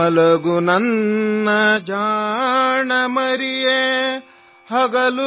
এইটো শুনক আপোনালোকেও ইয়াক উপভোগ কৰিব